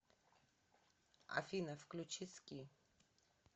афина включи ски